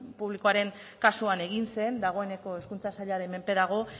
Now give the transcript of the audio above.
publikoaren kasuan egin zen dagoeneko hezkuntza sailaren menpe dago